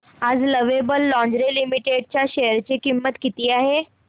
आज lovable lingerie limited च्या share ची किंमत किती आहे